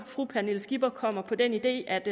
fru pernille skipper kommer på den idé at